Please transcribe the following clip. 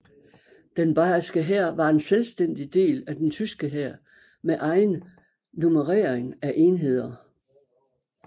Den bayerske hær var en selvstændig del af den tyske hær med egen nummerering af enheder